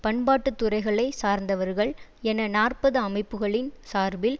பண்பாட்டுத்துறைகளை சார்ந்தவர்கள் என நாற்பது அமைப்புக்களின் சார்பில்